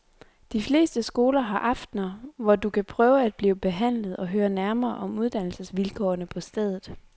De fleste skoler har aftener, hvor du kan prøve at blive behandlet og høre nærmere om uddannelsesvilkårene på stedet.